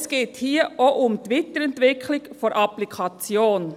Es geht hier aber auch um die Weiterentwicklung der Applikation.